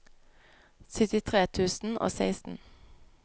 syttitre tusen og seksten